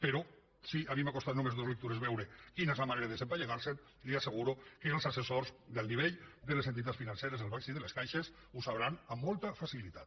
però si a mi m’ha costat només dos lectures veure quina és la manera de desempallegar se’n li asseguro que els assessors d’alt nivell de les entitats financeres dels bancs i de les caixes ho sabran amb molta facilitat